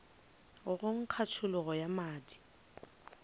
go nkga tšhologo ya madi